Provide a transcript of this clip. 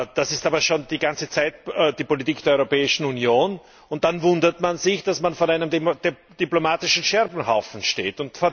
Das ist schon die ganze Zeit die Politik der Europäischen Union, und dann wundert man sich, dass man vor einem diplomatischen Scherbenhaufen steht.